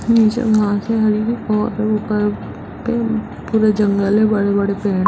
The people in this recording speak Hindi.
नीचे घास है हरी और ऊपर पे पूरा जंगल है बड़े-बड़े पे --